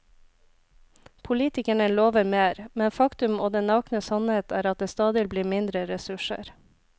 Politikerne lover mer, men faktum og den nakne sannhet er at det stadig blir mindre ressurser.